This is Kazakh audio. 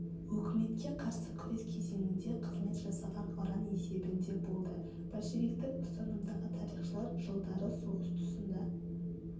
өкіметке қарсы күрес кезеңінде қызмет жасаған ұран есебінде болды большевиктік ұстанымдағы тарихшылар жылдары соғыс тұсында